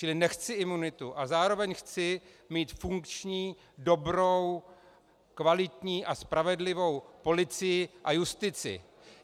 Čili nechci imunitu a zároveň chci mít funkční, dobrou, kvalitní a spravedlivou policii a justici.